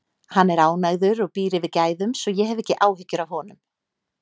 Hann er ánægður og býr yfir gæðum, svo ég hef ekki áhyggjur af honum.